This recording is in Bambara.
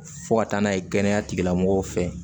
Fo ka taa n'a ye kɛnɛya tigilamɔgɔw fɛ